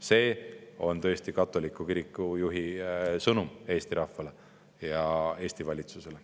See oli tõesti katoliku kiriku juhi sõnum Eesti rahvale ja Eesti valitsusele.